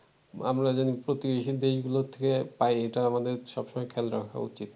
আমরা যেন প্রতিবেশী দেশগুলো থেকে পাই এটা আমাদের সব সময় খেয়াল রাখা উচিত